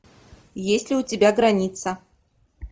есть ли у тебя граница